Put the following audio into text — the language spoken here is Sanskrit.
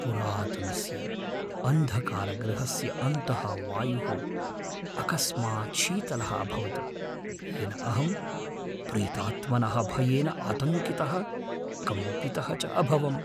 पुरातनस्य अन्धकारगृहस्य अन्तः वायुः अकस्मात् शीतलः अभवत्, येन अहं प्रेतात्मनः भयेन आतङ्कितः कम्पितः च अभवम् ।